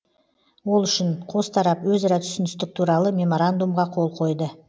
ол үшін қос тарап өзара түсіністік туралы меморандумға қол қойды